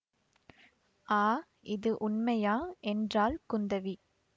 ஆ இது உண்மையா என்றாள் குந்தவி